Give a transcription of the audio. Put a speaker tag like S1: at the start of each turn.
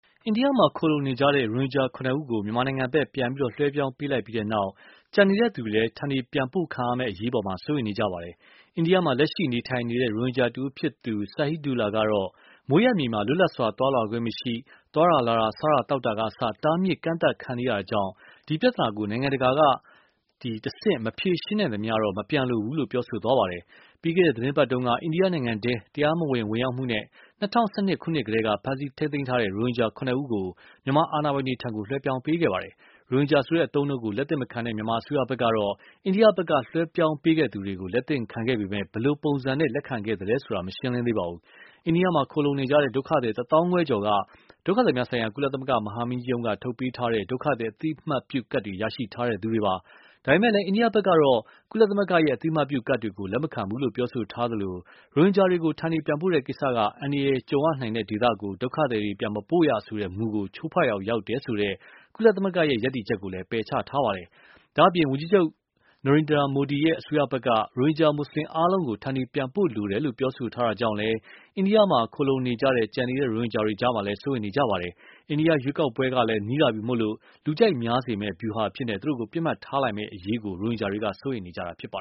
S1: အိန္ဒိယမှာ ခိုလှုံနေကြတဲ့ ရိုဟင်ဂျာ ၇ ဦးကို မြန်မာနိုင်ငံဘက် ပြန်ပြီး လွှဲပြောင်းပေးလိုက်ပြီးနောက်မှာ ကျန်ရှိနေတဲ့ သူတွေလည်း ဌာနေပြန်ပို့ခံရမယ့် အရေးအပေါ် စိုးရိမ်နေကြပါတယ်။ အိန္ဒိယမှာ လက်ရှိ နေထိုင်နေတဲ့ ရိုဟင်ဂျာ တဦး ဖြစ်သူ Sahidullah က အခုလို ပြောပါတယ်။ "ကိုယ်ရဲ့ မွေးရပ်မြေမှာ လွတ်လပ်စွာ သွားလာခွင့် မရှိပါဘူး။ သွားတာလာတာ စားတာ သောက်တာက အစ တားမြစ် ကန့်သတ်ခံနေကြရပါတယ်။ ဒီပြဿနာကို နိုင်ငံတကာ အဆင့် မဖြေရှင်းနိုင်သေးသမျှတော့ မပြန်ပါဘူးလို့ ပြောသွားတာပါ။" ပြီးခဲ့တဲ့ သီတင်းပတ်တုန်းက အိန္ဒိယနိုင်ငံထဲကို တရားမဝင် ဝင်ရောက်မှုနဲ့ ၂၀၁၂ ခုနှစ်ကတည်းက ဖမ်းဆီး ထိန်းသိမ်းထားတဲ့ ရိုဟင်ဂျာ ၇ ဦးကို မြန်မာအာဏာပိုင်တွေထံ လွှဲပြောင်းပေးခဲ့တာပါ။ ရိုဟင်ဂျာဆိုတဲ့ အသုံးအနှုန်းကို လက်သင့်မခံတဲ့ မြန်မာ အစိုးရဘက်ကတော့ အိန္ဒိယဘက်က လွှဲပြောင်းပေးခဲ့သူတွေကို လက်သင့်ခံခဲ့ပေမယ့် ဘယ်လိုပုံစံ လက်ခံခဲ့သလဲဆိုတာ မသိရပါဘူး။ အိန္ဒိယမှာ ခိုလှုံနေကြတဲ့ ဒုက္ခသည် ၁ သောင်းခွဲကျော်က ဒုက္ခသည်များဆိုင်ရာ ကုလသမဂ္ဂ မဟာမင်းကြီးရုံးက ထုတ်ပေးထားတဲ့ ဒုက္ခသည် အသိအမှတ်ပြုကဒ်တွေ ရရှိထားသူတွေပါ။ ဒါပေမယ့် အိန္ဒိယဘက်ကတော့ ကုလသမဂ္ဂရဲ့ အသိအမှတ်ပြု ကဒ်တွေကို လက်မခံဘူးလို့ ပြောဆိုထားသလို ရိုဟင်ဂျာတွေကို ဌာနေပြန်ပို့တဲ့ ကိစ္စက အန္တရာယ်ကြုံရနိုင်တဲ့ ဒေသကို ဒုက္ခသည်တွေ ပြန်မပို့ရဆိုတဲ့ မူဆကို ချိုးဖောက်ရာ ရောက်တယ်ဆိုတဲ့ ကုလသမဂ္ဂရဲ့ ရပ်တည်ချက်ကိုလည်း ပယ်ချထားပါတယ်။ ဒါ့အပြင် ဝန်ကြီးချုပ် နရိန္ဒရာ မိုဒီရဲ့ အစိုးရဘက်က ရိုဟင်ဂျာ မူဆလင် အားလုံးကို ဌာနေပြန်ပို့လိုတယ်လို့ ပြောဆိုတာကြောင့်လည်း အိန္ဒိယမှာ ခိုလှုံနေကြတဲ့ ရိုဟင်ဂျာတွေကြား စိုးရိမ်နေကြတာ ဖြစ်ပါတယ်။ အိန္ဒိယ ရွေးကောက်ပွဲကလည်း နီးလာပြီဖို့ လူကြိုက်များစေမယ့် ဗျူဟာအဖြစ် သူတို့ကို ပစ်မှတ်ထားလာမယ့် အရေးကို ရိုဟင်ဂျာတွေ စိုးရိမ်နေကြတာပါ